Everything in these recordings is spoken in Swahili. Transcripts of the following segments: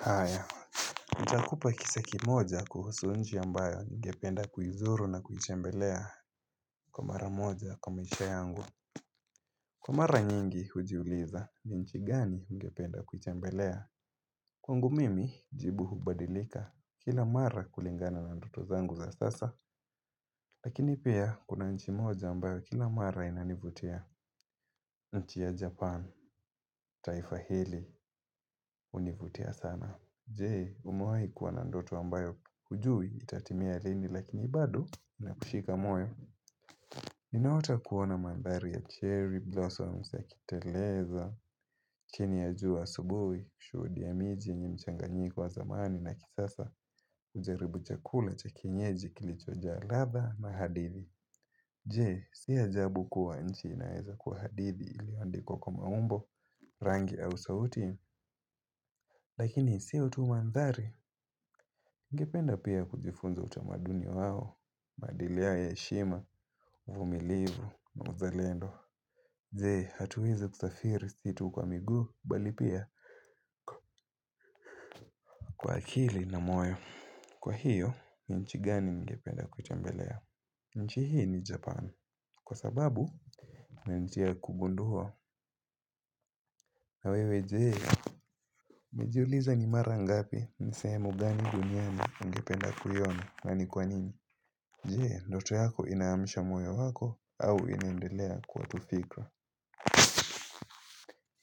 Haya, nitakupa kisa kimoja kuhusu nchi ambayo ningependa kuzuru na kuitembelea kwa mara moja kwa maisha yangu Kwa mara nyingi hujiuliza ni nchi gani ningependa kutembelea Kwangu mimi, jibu hubadilika kila mara kulingana na ndoto zangu za sasa Lakini pia, kuna nchi moja ambayo kila mara inanivutia nchi ya Japan, taifahili, univutia sana Jee umuwahi kuwa na ndoto ambayo hujui itatimia lini lakini bado na kushika moyo Ninaota kuona mandhari ya cherry blossoms ya kiteleza Kini ya jua subuhi, shuudi ya miji, nyimchanga nyiko wa zamani na kithasa ujaribu chakula cha kinyeji kilichojaa ladha na hadithi Jee si ajabu kuwa nchi inaeza kuwa hadithi ilioandikwa kwa maumbo, rangi au sauti Lakini siyo tu mandhari Ningependa pia kujifunza utamaduni wao, maadiliyao ya heshima, vumilivu na mzalendo Jee, hatuweze kusafiri situ kwa miguu bali pia kwa akili na moyo Kwa hiyo, nchi gani ningependa kutembelea? Nchi hii ni Japan, kwa sababu na nitia kugundua na wewe jee umejiuliza ni mara ngapi, nisemu gani duniani ungependa kuiona na ni kwanini Jee, ndoto yako inaamsha moyo wako au inaendelea kwa tufikra.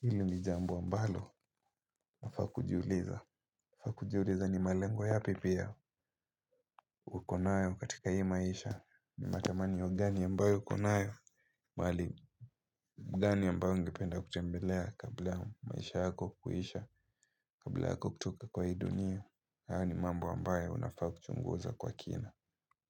Hili ni jambo ambalo nafaa kujiuliza. Fakujiuliza ni malengwa yapi pia. Ukonayo katika hii maisha ni matamani wa gani yambayo konayo. Mwali gani yambayo ungependa kutembelea kabla maisha yako kuisha kabla kutoka kwa hii dunia. Haya ni mambo ambayo unafaa kuchunguza kwa kina.